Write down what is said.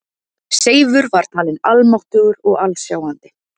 Seifur var talin almáttugur og alsjáandi.